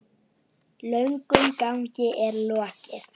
Löngum gangi er lokið.